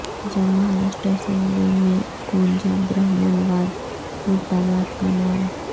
جب مہاراشٹر اسمبلی میں گونجا برہمن واد مردہ باد کا نعرہ